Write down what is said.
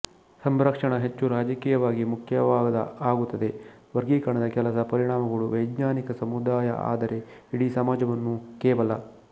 ಸಂರಕ್ಷಣಾ ಹೆಚ್ಚು ರಾಜಕೀಯವಾಗಿ ಮುಖ್ಯವಾದ ಆಗುತ್ತದೆ ವರ್ಗೀಕರಣದ ಕೆಲಸ ಪರಿಣಾಮಗಳು ವೈಜ್ಞಾನಿಕ ಸಮುದಾಯ ಆದರೆ ಇಡೀ ಸಮಾಜವನ್ನು ಕೇವಲ